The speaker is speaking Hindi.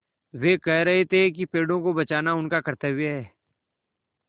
वे कह रहे थे कि पेड़ों को बचाना उनका कर्त्तव्य है